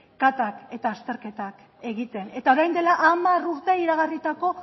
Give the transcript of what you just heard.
katak eta azterketak egiten eta orain dela hamar urte iragarritako